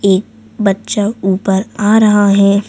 एक बच्चा ऊपर आ रहा है।